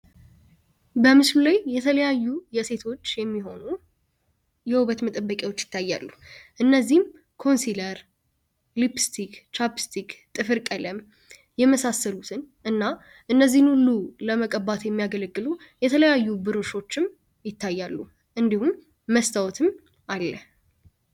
በምስሉ ላይ የተለያዩ የሴቶች የሚሆኑ የውበት መጠበቂዎች ይታያሉ እነዚህም ኮንሲለር ሊፕስቲክ ቻፕስቲክ ጥፍር ቀለም የመሳሰሉትን እና እነዚህን ሉ ለመቀባት የሚያገለግሉ የተለያዩ ብሮሾችም ይታያሉ እንዲሁም መስታወትም አለ፡፡